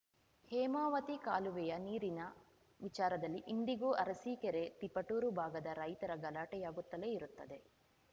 ಹೇಮಾವತಿ ಕಾಲುವೆಯ ನೀರಿನ ವಿಚಾರದಲ್ಲಿ ಇಂದಿಗೂ ಅರಸೀಕೆರೆ ತಿಪಟೂರು ಭಾಗದ ರೈತರ ಗಲಾಟೆಯಾಗುತ್ತಲೇ ಇರುತ್ತದೆ